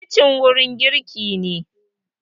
kicin wurin girki ne